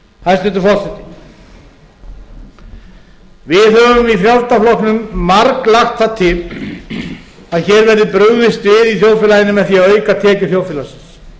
hæstvirtur forseti við höfum í frjálslynda flokknum marglagt það til að hér verði brugðist við í þjóðfélaginu með því að auka tekjur þjóðfélagsins